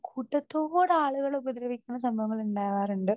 Speaker 2 കൂട്ടത്തോടെ ആളുകളെ ഉപദ്രവിക്കണ സംഭവങ്ങൾ ഉണ്ടാവാറുണ്ട്.